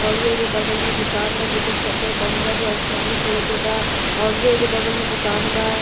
ओरु एगो बगल में दुकान बा जेकर शटर बंद बा जो आसमानी कलर के बा औरू एगो बगल में दुकान बा।